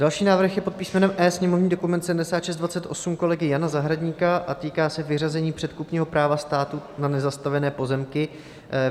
Další návrh je pod písmenem E, sněmovní dokument 7628 kolegy Jana Zahradníka, a týká se vyřazení předkupního práva státu na nezastavěné pozemky.